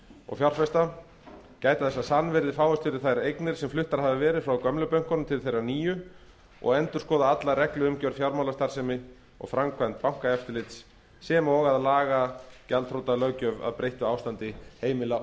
og fjárfesta gæta þess að sannvirði fáist fyrir þær eignir sem fluttar hafa verið frá gömlu bönkunum til þeirra nýju og endurskoða alla regluumgjörð fjármálastarfsemi og framkvæmd bankaeftirlits sem og að laga gjaldþrotalöggjöf að breyttu ástandi heimila